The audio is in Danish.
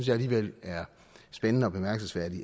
jeg alligevel er spændende og bemærkelsesværdigt